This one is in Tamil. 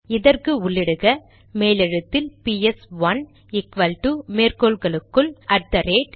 இதற்கு உள்ளிடுக மேலெழுத்தில் பிஎஸ்ஒன்று ஈக்வல்டு மேற்கோள்களுக்குள் அட் தெ ரேட்